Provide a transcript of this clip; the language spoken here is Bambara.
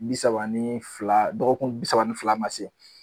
Bi saba ni fila dɔgɔkun bi saba ni fila ma se